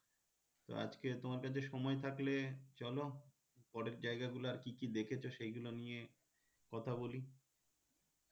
তো আজকে তোমার কাছে সময় থাকলে চলো পরের জায়গা গুলো আর কি কি দেখেছ সেইগুলো নিয়ে কথা বলি